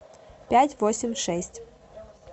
пять восемь шесть